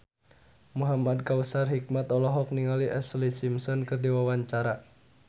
Muhamad Kautsar Hikmat olohok ningali Ashlee Simpson keur diwawancara